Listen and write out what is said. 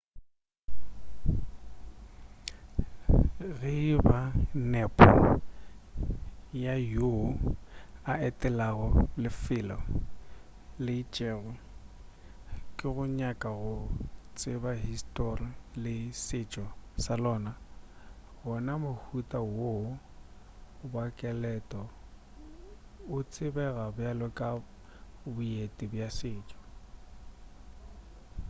ge e ba nepo ya yoo a etelago lefelo le itšego ke go nyaka go tseba histori le setšo sa lona gona mohuta wo wa ketelo o tsebega bjalo ka boeti bja setšo